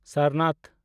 Sarnath